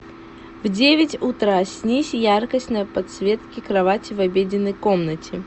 в девять утра снизь яркость на подсветке кровати в обеденной комнате